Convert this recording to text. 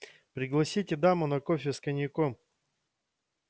пригласите даму на кофе с коньяком